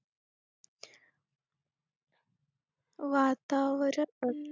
वातावरण